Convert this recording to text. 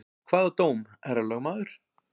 Hvaða dóm, herra lögmaður?